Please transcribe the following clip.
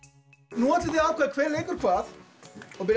nú ætlum við að ákveða hver leikur hvað og byrja